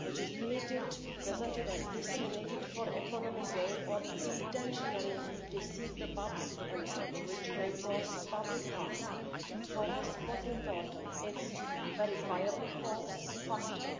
which is created, presented and disseminated for economic gain or to intentionally deceive the public and which may cause public harm. For us, what's important is its verifiably false factor